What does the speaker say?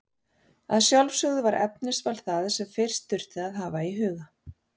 Að sjálfsögðu var efnisval það sem fyrst þurfti að hafa í huga.